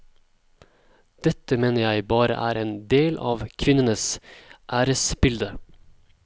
Dette mener jeg bare er en del av kvinnenes æresbilde.